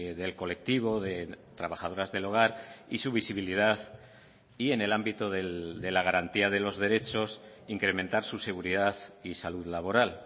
del colectivo de trabajadoras del hogar y su visibilidad y en el ámbito de la garantía de los derechos incrementar su seguridad y salud laboral